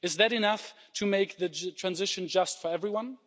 Is that enough to make the transition just for everyone?